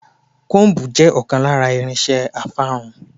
Kóómbù jẹ́ ọ̀kan lára irinse afárun.